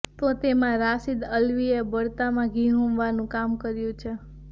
તો તેમાં રાશિદ અલ્વીએ બળતામાં ઘી હોમવાનું કામ કર્યું છે